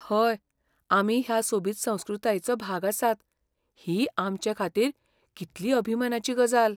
हय, आमी ह्या सोबीत संस्कृतायेचो भाग आसात ही आमचेखातीर कितली अभिमानाची गजाल.